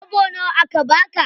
Kwabo nawa aka baka?